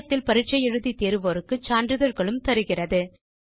இணையத்தில் பரிட்சை எழுதி தேர்வோருக்கு சான்றிதழ்களும் தருகிறது